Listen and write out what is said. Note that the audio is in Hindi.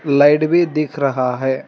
लाइट भी दिख रहा है।